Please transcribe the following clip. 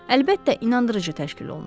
Əlbəttə, inandırıcı təşkil olunub.